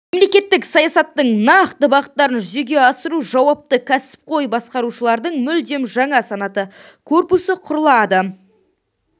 мемлекеттік саясаттың нақты бағыттарын жүзеге асыруға жауапты кәсіпқой басқарушылардың мүлдем жаңа санаты корпусы құрылады